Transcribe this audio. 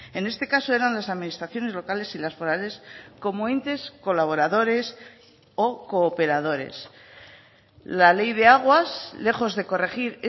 en este caso eran las administraciones locales y las forales como entes colaboradores o cooperadores la ley de aguas lejos de corregir